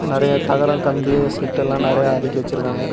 நெறைய தகரம் கம்பி செட் எல்லாம் நெறைய அடுக்கி வெச்சிருக்காங்க.